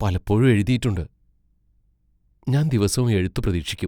പലപ്പോഴും എഴുതിയിട്ടുണ്ട്, ഞാൻ ദിവസവും എഴുത്തു പ്രതീക്ഷിക്കും.